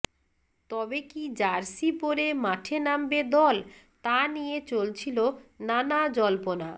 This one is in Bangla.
তবে কি জার্সি পরে মাঠে নামবে দল তা নিয়ে চলছিল নানা জল্পনা